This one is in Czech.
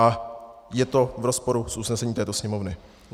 A je to v rozporu s usnesením této Sněmovny.